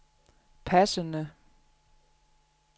passende